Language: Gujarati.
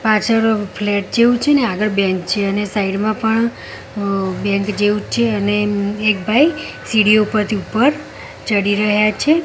પાછળ ફ્લેટ જેવુ છે ને આગળ બેંક છે અને સાઈડ માં પણ અહ બેંક જેવુ છે અને એક ભાઈ સીડીઓ પરથી ઉપર ચડી રહ્યા છે.